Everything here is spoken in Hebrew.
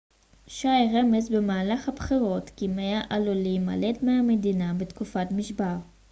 שיי רמז במהלך הבחירות כי מא עלול להימלט מהמדינה בתקופת משבר